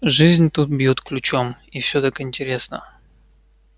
жизнь тут бьёт ключом и всё так интересно